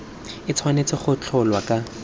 e tshwanetse go tsholwa ka